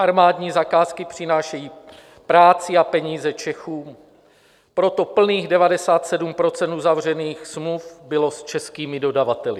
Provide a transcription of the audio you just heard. Armádní zakázky přinášejí práci a peníze Čechům, proto plných 97 % uzavřených smluv bylo s českými dodavateli.